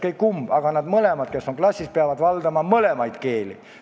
Mõlemad õpetajad, kes klassis on, peavad valdama mõlemaid keeli.